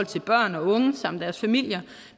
til børn og unge samt deres familier